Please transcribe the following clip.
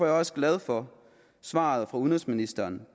jeg også glad for svaret fra udenrigsministeren